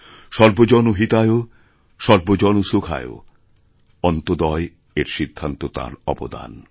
সর্বজন হিতায় সর্বজন সুখায় অন্ত্যোদয়এর সিদ্ধান্ত তাঁর অবদান